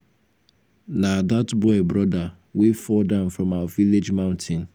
na dat boy broda wey fall down from our village mountain.